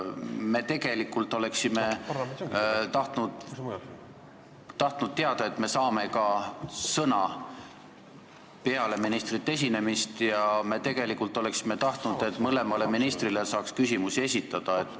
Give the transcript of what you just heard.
Me oleksime tahtnud teada, et me saame peale ministrite esinemist ka sõna, ja me oleksime tahtnud, et mõlemale ministrile saaks küsimusi esitada.